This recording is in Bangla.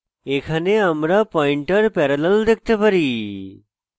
এখানে আমরা পয়েন্টার parallel দেখতে পারি